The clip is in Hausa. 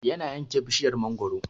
Yana yanke bishiryar mangaro